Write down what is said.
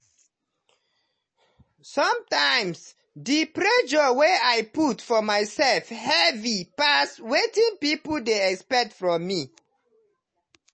sometimes the pressure wey i put for myself heavy pass wetin people dey expect from me.